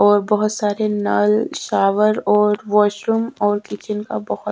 और बहोत सारे नारयल शावर और वाशरूम और किचन का बहुत --